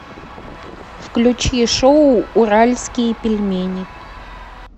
включи шоу уральские пельмени